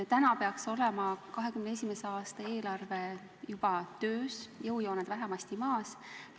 Täna peaks olema 2021. aasta eelarve juba töös, jõujooned peaksid vähemasti paigas olema.